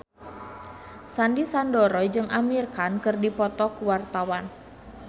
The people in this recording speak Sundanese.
Sandy Sandoro jeung Amir Khan keur dipoto ku wartawan